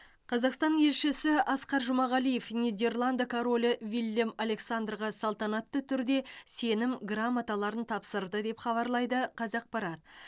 қазақстан елшісі асқар жұмағалиев нидерланд королі виллем александрға салтанатты түрде сенім грамоталарын тапсырды деп хабарлайды қазақпарат